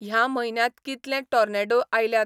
ह्या म्हयन्यांत कितलें टॉर्नेडो आयल्यात